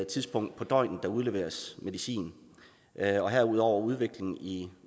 tidspunkt af døgnet der udleveres medicin herudover udviklingen i